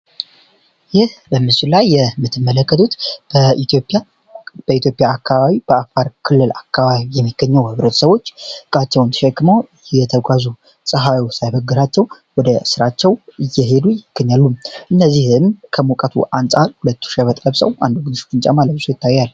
ይህ በምሱላይ የምትመለከቱት በኢትዮፒያ አካባቢ በአፋር ክልል አካባቢ የሚገኘው ህብረት ሰዎች እቃቸውን ሸክሞ የተጓዙ ፀሐዩ ሳይበግራቸው ወደ ሥራቸው እየሄዱ ይክኝሉም እነዚህም ከሙቀቱ አንፃል ሁለቱ 2በጠለብሰው አንዱ ወግንሽ ጥንጫ ማለብሶ ይታያያል